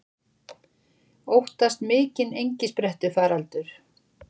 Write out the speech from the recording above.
Óttast mikinn engisprettufaraldur